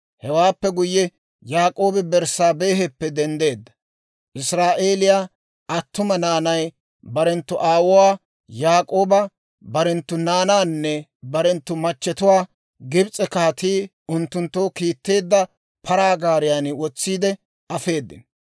Hewaappe guyye, Yaak'oobi Berssaabeheppe denddeedda; Israa'eeliyaa attuma naanay barenttu aawuwaa Yaak'ooba, barenttu naanaanne barenttu machatuwaa Gibs'e kaatii unttunttoo kiitteedda paraa gaariyaan wotsiide afeedino.